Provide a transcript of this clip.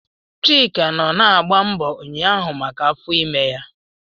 Chika nọ na-agbọ agbọọ ụnyaahụ maka afọ ime ya.